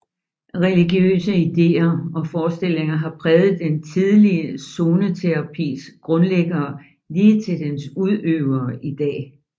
Religiøse ideer og forestillinger har præget den tidlige zoneterapis grundlæggere lige til dens udøvere i dag